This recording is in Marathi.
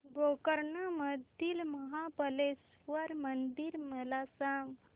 गोकर्ण मधील महाबलेश्वर मंदिर मला सांग